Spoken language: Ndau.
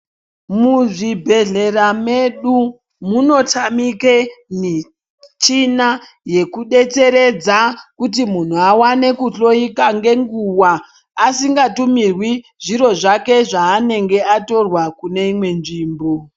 Muzvibhehlera medu munotamike michina yekudetseredza kuti muntu awane kuhloiwa ngenguwa asikatumirwi zviro zvake zvaanenge atorwa kuneimwe nzvimbo.